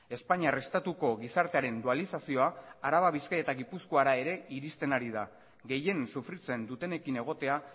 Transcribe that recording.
espainiar estatuko gizartearen dualizazioa araba bizkaia eta gipuzkoara ere irizten ari da gehien sufritzen dutenekin egotea